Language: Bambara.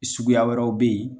Suguya wɛrɛw be yen